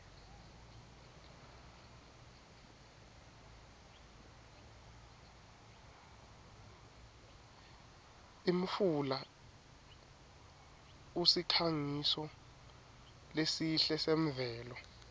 imfula usikhangiso lesihle semvelo